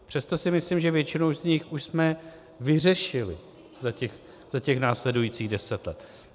Přesto si myslím, že většinu z nich už jsme vyřešili za těch následujících deset let.